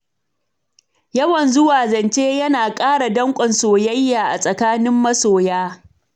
Yawan zuwa zance yana ƙara danƙon soyayya a tsakanin masoya.